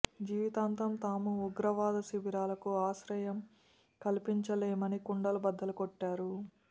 జీవితాంతం తాము ఉగ్రవాద శిబిరాలకు ఆశ్రయం కల్పించలేమని కుండలు బద్దలు కొట్టారు